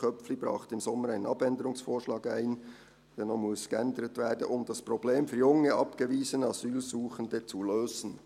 «Köpfli brachte im Sommer einen Abänderungsvorschlag ein», der noch geändert werden muss, «um das Problem für junge abgewiesene Asylsuchende [...] zu lösen.»